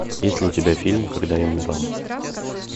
есть ли у тебя фильм когда я умирала